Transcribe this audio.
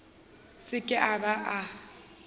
se ke a ba a